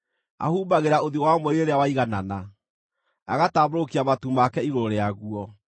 Ahumbagĩra ũthiũ wa mweri rĩrĩa waiganana, agatambũrũkia matu make igũrũ rĩaguo.